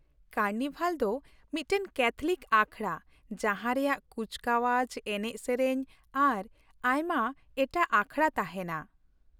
Carnival ᱫᱚ ᱢᱤᱫᱴᱟᱝ Catholic ᱟᱠᱷᱲᱟ ᱡᱟᱦᱟᱸ ᱨᱮᱭᱟᱜ ᱠᱩᱪᱠᱟᱣᱟᱡ, ᱮᱱᱮᱡ, ᱥᱮᱨᱮᱧ ᱟᱨ ᱟᱭᱢᱟ ᱮᱴᱟᱜ ᱟᱠᱷᱲᱟ ᱛᱟᱦᱮᱱᱟ ᱾